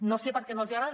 no sé per què no els agrada